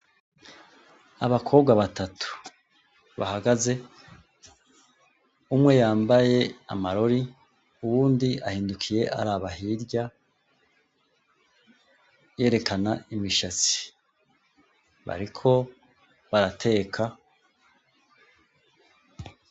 Abakobwa batatu bahagaze umwe yambaye amarori uwundi ahindukiye araba hirya yerekana imishatsi bariko barateka